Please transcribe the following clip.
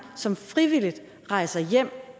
som frivilligt rejser hjem